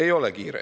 Ei ole kiire.